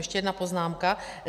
Ještě jedna poznámka.